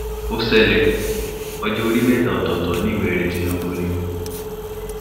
ó ṣẹlẹ̀ ọjọ́ orí mẹ́ta ọ̀tọ̀ọ̀tọ̀ ní ìwé-ẹ̀rí tinubu ni